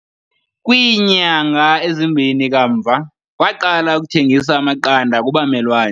Kwiinyanga ezimbini kamva, waqala ukuthengisa amaqanda kubamelwane.